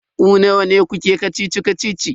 Ku nawa ne kuke kacici-kacicin?